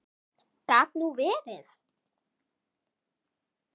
Gat nú verið